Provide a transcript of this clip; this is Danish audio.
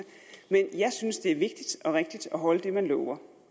men jeg synes at det er vigtigt og rigtigt at holde det man lover